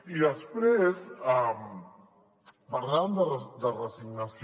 i després parlaven de resignació